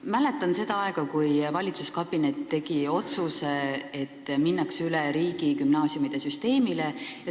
Ma mäletan seda aega, kui valitsuskabinet tegi otsuse, et minnakse üle riigigümnaasiumide süsteemile.